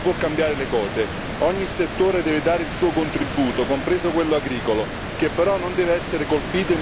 Ogni settore deve dare il suo contributo, compreso quello agricolo, che però non deve essere colpito in maniera sproporzionata.